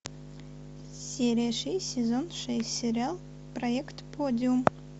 серия шесть сезон шесть сериал проект подиум